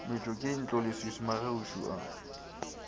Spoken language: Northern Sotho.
metšwa ke ntloleswiswi magagešo a